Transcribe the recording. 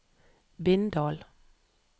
Bindal